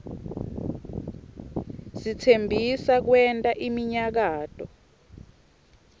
sitsembisa kwenta iminyakato